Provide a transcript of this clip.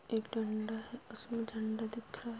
एक डंडा है उसमें झंडा दिख रहा है |